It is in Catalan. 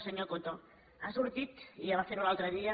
senyor coto ha sortit i ja va fer ho l’altre dia